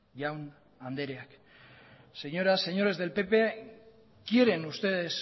jaun andreak señoras señores del pp quieren ustedes